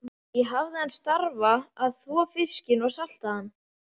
Ég hafði þann starfa að þvo fiskinn og salta hann.